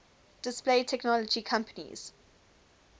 display technology companies